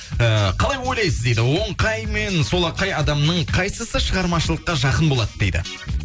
ыыы қалай ойлайсыз дейді оңқай мен солақай адамның қайсысы шығармашылыққа жақын болады дейді